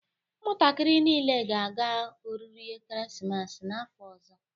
Ụmụntakịrị niile ga-aga oriri ekeresimesi n'afọ ọzọ